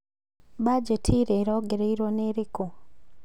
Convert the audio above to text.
Bajeti ĩrĩa ĩrongoreirwo nĩ ĩrĩkũ?